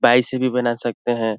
Biceps भी बना सकते हैं।